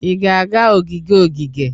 Ị ga-aga ogige ogige?